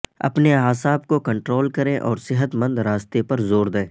اپنے اعصاب کو کنٹرول کریں اور صحت مند راستے پر زور دیں